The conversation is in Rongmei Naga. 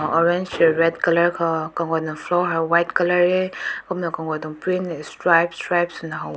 orange sh red colour kaw kagun floor white color reh kumna na kagut print stripe stripe su na haw.